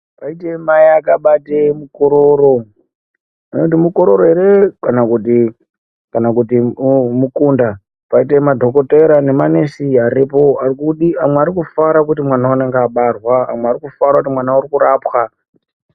Paite mai akabate mukororo ameno kuti mukororo ere kana kuti kana kuti mukunda paite madhokotera ne manesi aripo amwe ari kufara kuti mwana unonga wabarwa amwe ari kufara kuti mwana ari kurapwa.